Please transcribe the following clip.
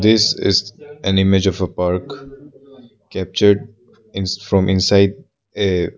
this is an image of a park captured ins from inside a --